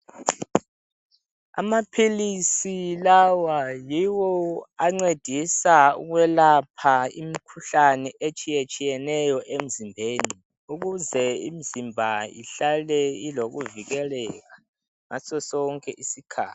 Amaphilisi lawa yiwo ancedisa ukwelapha imkhuhlane etshiyatshiyeneyo emzimbeni ukuze imzimba ihlale ilokuvikeleka ngaso sonke isikhathi.